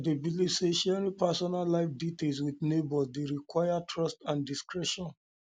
i dey believe say sharing personal life details with neighbors dey require trust and discretion